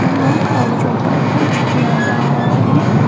यहां कागजों पर कुछ किया जा रहा है।